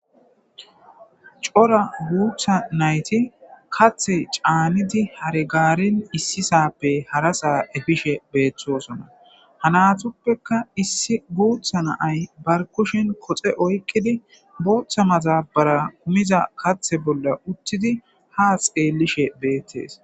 cora guutha nayti kathe caanidi hare gaarin issisappe harasaa efishe beeththosona hanatuppeka issi guutha naay barkushin koxe oykqidi booththa mazabara kumiza kathe bolla uttidi ha xeelishe beettees